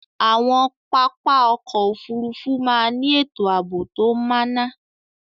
Awọn papá ọ̀kọ̀ ofúrúfú màà ni etò aabo to máná